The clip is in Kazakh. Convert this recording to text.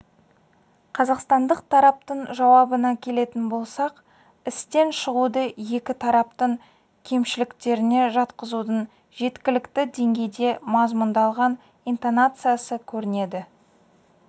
қазақстандық тараптың жауабына келетін болсақ істен шығуды екі тараптың кемшіліктеріне жатқызудың жеткілікті деңгейде мазмұндалған интонациясы көрінеді